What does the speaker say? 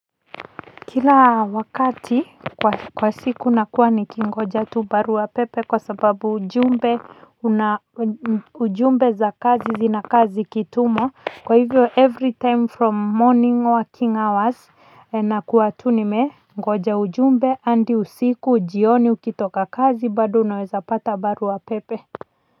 Kila wakati kwa siku nakuwa nikingoja tu barua wa pepe kwa sababu ujumbe ujumbe za kazi zinakaa zikitumwa kwa hivyo every time from morning working hours nakuwa tu nimengoja ujumbe adi usiku jioni ukitoka kazi bado unaweza pata barua pepe.